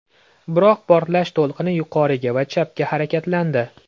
Biroq portlash to‘lqini yuqoriga va chapga harakatlandi.